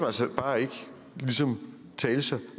altså bare ikke ligesom tale sig